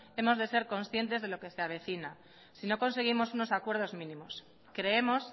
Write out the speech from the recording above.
hemos de ser conscientes con lo que se avecina si no conseguimos unos acuerdos mínimos creemos